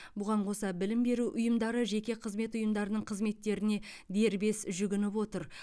бұған қоса білім беру ұйымдары жеке қызмет ұйымдарының қызметтеріне дербес жүгініп отыр